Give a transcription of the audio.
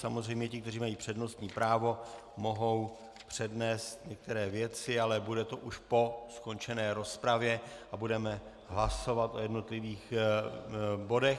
Samozřejmě ti, kteří mají přednostní právo, mohou přednést některé věci, ale bude to už po skončené rozpravě a budeme hlasovat o jednotlivých bodech.